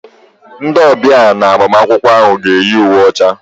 Ndị ọbịa na agbamakwụkwọ ahụ ga-eyi uwe ọcha.